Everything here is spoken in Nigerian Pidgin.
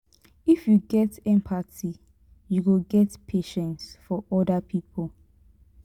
if you get empathy you go get patience for oda pipo.